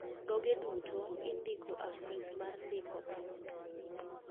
thoge duto indiko afis mar ndiko tho